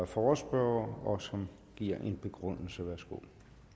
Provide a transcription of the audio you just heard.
forespørgerne og som giver en begrundelse værsgo